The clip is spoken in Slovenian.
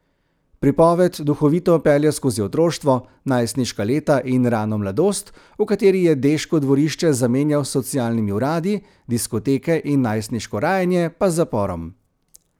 Pripoved duhovito pelje skozi otroštvo, najstniška leta in rano mladost, v kateri je deško dvorišče zamenjal s socialnimi uradi, diskoteke in najstniško rajanje pa z zaporom.